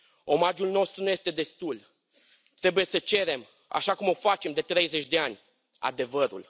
Omagiul nostru nu este destul. Trebuie să cerem, așa cum o facem de 30 de ani, adevărul.